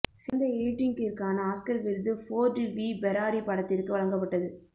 சிறந்த எடிட்டிங்கிற்கான ஆஸ்கர் விருது ஃபோர்டு வி ஃபெராரி படத்திற்கு வழங்கப்பட்டது